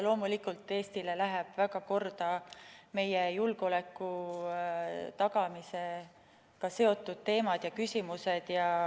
Loomulikult, Eestile lähevad väga korda meie julgeoleku tagamisega seotud teemad ja küsimused.